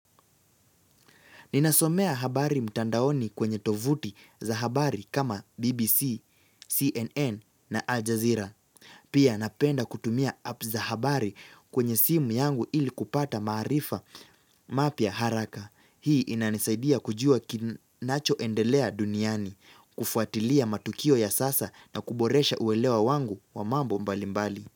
Ninasomea habari mtandaoni kwenye tovuti za habari kama BBC, CNN na Al Jazeera. Pia napenda kutumia app za habari kwenye simu yangu ili kupata maarifa mapya haraka. Hii inanisaidia kujua kinacho endelea duniani, kufuatilia matukio ya sasa na kuboresha uelewa wangu wa mambo mbalimbali.